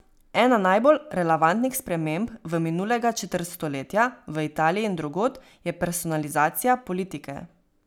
Ena najbolj relevantnih sprememb v minulega četrt stoletja, v Italiji in drugod, je personalizacija politike.